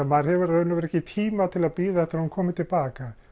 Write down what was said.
maður hefur í raun og veru ekki tíma til að bíða eftir því að hún komi til baka